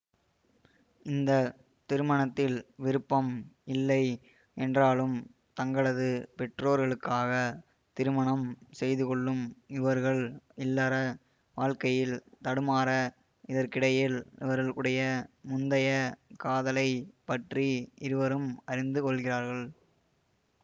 இந்த திருமணத்தில் விருப்பம் இல்லை என்றாலும் தங்களது பெற்றொர்களுக்காக திருமணம் செய்துகொள்ளும் இவர்கள் இல்லர வாழ்க்கையில் தடுமாற இதற்கிடையில் இவர்களுடைய முந்தைய காதலை பற்றி இருவரும் அறிந்துகொள்கிறார்கள்